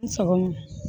N sago